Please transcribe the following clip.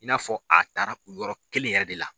I n'a fɔ a taara u yɔrɔ kelen yɛrɛ de la